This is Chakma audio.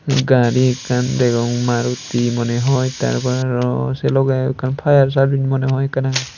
gari ekkan degong maruti money hoi tar por aro sey logey ekkan fire serbing money hoi ekkan agey.